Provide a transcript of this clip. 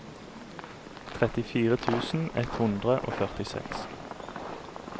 trettifire tusen ett hundre og førtiseks